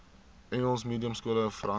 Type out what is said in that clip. engels mediumskole verander